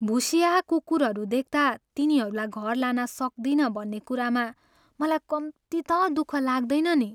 भुस्याहा कुकुरहरू देख्ता तिनीरूलाई घर लान सक्दिनँ भन्ने कुरामा मलाई कम्ती त दुःख लाग्दैन नि।